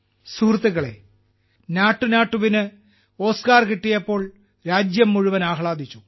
സുഹൃത്തുക്കളേ നാട്ടുനാട്ടുവിന് ഓസ്കാർ കിട്ടിയപ്പോൾ രാജ്യം മുഴുവൻ ആഹ്ലാദിച്ചു